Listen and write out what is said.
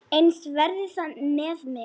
Eins verði það með mig.